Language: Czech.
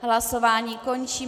Hlasování končím.